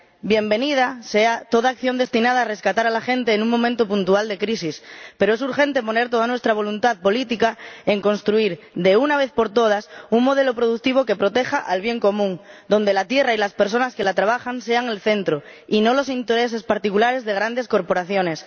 Bienvenida sea toda acción destinada a rescatar a la gente en un momento puntual de crisis, pero es urgente poner toda nuestra voluntad política en construir, de una vez por todas, un modelo productivo que proteja el bien común, donde la tierra y las personas que la trabajan sean el centro, y no los intereses particulares de grandes corporaciones.